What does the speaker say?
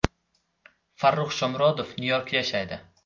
Farrux Shomurodov Nyu-Yorkda yashaydi.